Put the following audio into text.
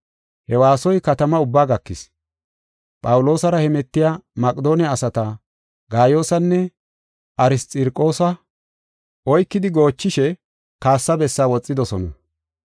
He waasoy katama ubbaa gakis. Phawuloosara hemetiya Maqedoone asata, Gaayoosanne Arxirokoosa oykidi goochishe kaassa bessaa woxidosona.